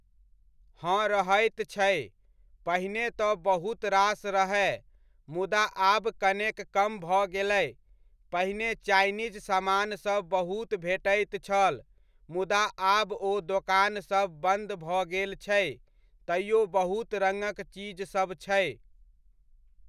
हँ रहैत छै, पहिने तऽ बहुत रास रहय, मुदा आब कनेक कम भऽ गेलै, पहिने चाइनीज समानसभ बहुत भेटैत छल, मुदा आब ओ दोकानसभ बन्द भऽ गेल छै, तैओ बहुत रङ्गक चीज सब छै।